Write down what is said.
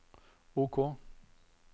OK